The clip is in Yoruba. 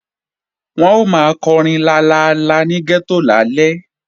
Wọ́n ó máa kọrin lalala ní gẹ́tò lálẹ́